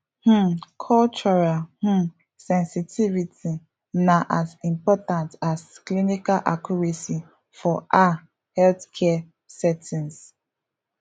um cultural um sensitivity na as important as clinical accuracy for ah healthcare settings